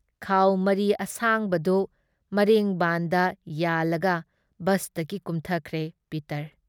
ꯈꯥꯥꯎ ꯃꯔꯤ ꯑꯁꯥꯡꯕꯗꯨ ꯃꯔꯦꯡꯕꯥꯟꯗ ꯌꯥꯜꯂꯒ ꯕꯁꯇꯒꯤ ꯀꯨꯝꯊꯈ꯭ꯔꯦ ꯄꯤꯇꯔ ꯫